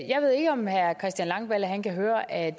jeg ved ikke om herre christian langballe har hørt at